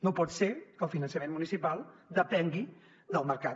no pot ser que el finançament municipal depengui del mercat